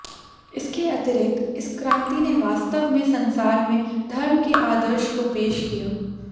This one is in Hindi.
इसके अतिरिक्त इस क्रांति ने वास्तव में संसार में धर्म के आदर्श को पेश किया